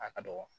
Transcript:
A ka dɔgɔ